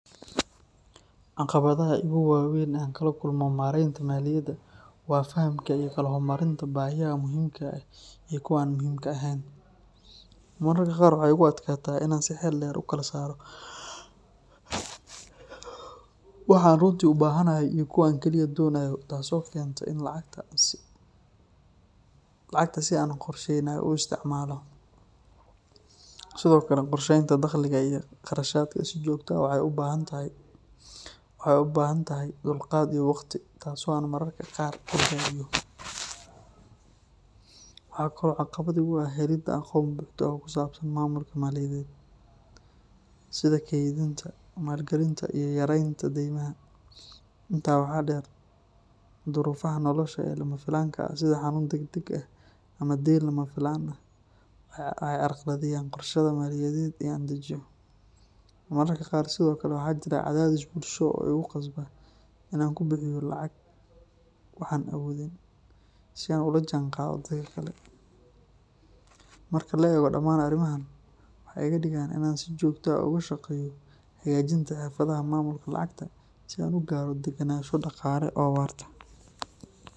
Caqabadaha iigu waa weyn ee aan kala kulmo maareynta maaliyadda waa fahamka iyo kala hormarinta baahiyaha muhiimka ah iyo kuwa aan muhiimka ahayn. Mararka qaar waxaa igu adkaata in aan si xeel dheer u kala saaro waxa aan runtii u baahanahay iyo waxa aan kaliya doonayo, taas oo keenta in aan lacagta si aan qorsheysnayn u isticmaalo. Sidoo kale, qorsheynta dakhliga iyo kharashaadka si joogto ah waxay u baahan tahay dulqaad iyo waqti, taas oo aan mararka qaar ka gaabiyo. Waxaa kale oo caqabad iigu ah helidda aqoon buuxda oo ku saabsan maamulka maaliyadeed, sida kaydinta, maalgelinta iyo yareynta deymaha. Intaa waxaa dheer, duruufaha nolosha ee lama filaanka ah sida xanuun degdeg ah ama dayn lama filaan ah waxay carqaladeeyaan qorshaha maaliyadeed ee aan dejiyo. Mararka qaar sidoo kale waxaa jira cadaadis bulsho oo igu khasba in aan ku bixiyo lacag wax aan awoodin, si aan ula jaanqaado dadka kale. Marka la eego dhammaan arrimahan, waxay iga dhigaan in aan si joogto ah uga shaqeeyo hagaajinta xirfadaha maamulka lacagta, si aan u gaaro degenaansho dhaqaale oo waarta.